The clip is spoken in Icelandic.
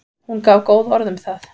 Hún gaf góð orð um það.